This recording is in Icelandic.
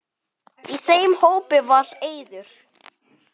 Í þeim hópi var Eiður.